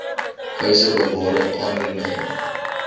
wyse bewaring aanwending